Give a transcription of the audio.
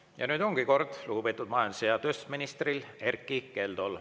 Ja nüüd ongi kord lugupeetud majandus- ja tööstusministril, Erkki Keldol.